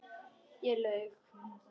Ég laug.